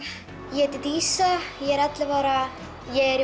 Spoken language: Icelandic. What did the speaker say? heiti dísa ég er ellefu ára ég er í